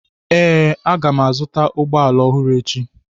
Ee, m ga-azụta ụgbọ ala ọhụrụ echi.